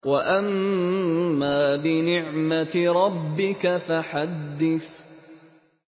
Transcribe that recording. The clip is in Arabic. وَأَمَّا بِنِعْمَةِ رَبِّكَ فَحَدِّثْ